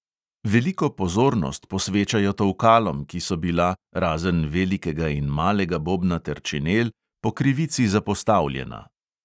Veliko pozornost posvečajo tolkalom, ki so bila – razen velikega in malega bobna ter činel – po krivici zapostavljena.